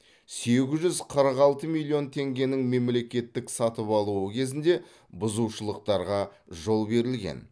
сегіз жүз қырық алты миллион теңгенің мемлекеттік сатып алуы кезінде бұзушылықтарға жол берілген